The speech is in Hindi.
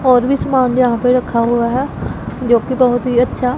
और भी सामान यहां पे रखा हुआ है जो की बहोत ही अच्छा--